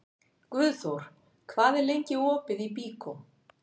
Guðþór, hvað er lengi opið í Byko?